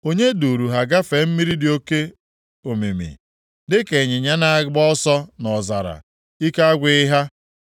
Onye duuru ha gafee mmiri dị oke omimi? Dịka ịnyịnya na-agba ọsọ nʼọzara, ike agwụghị ha.